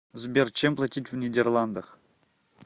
сбер чем платить в нидерландах